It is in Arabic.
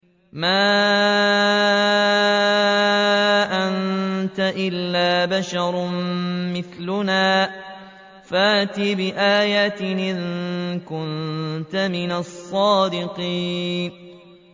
مَا أَنتَ إِلَّا بَشَرٌ مِّثْلُنَا فَأْتِ بِآيَةٍ إِن كُنتَ مِنَ الصَّادِقِينَ